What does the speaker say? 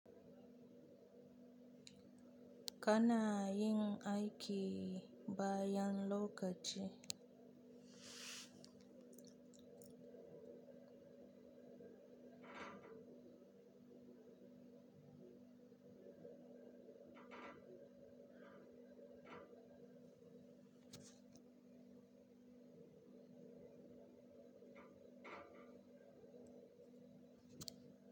Kana yin aiki bayan lokaci.